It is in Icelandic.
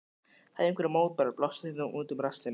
Hafirðu einhverjar mótbárur, blástu þeim þá út um rassinn.